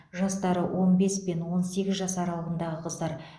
жастары он бес пен он сегіз жас аралығындағы қыздар